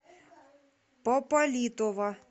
пополитова